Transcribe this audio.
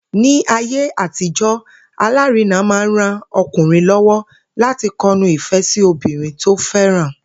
Ní ayé àtijó̩, alárinà máa ń ran o̩kùnrin ló̩wó̩ láti ko̩nu ìfé̩ sí obìnrin tó fé̩ràn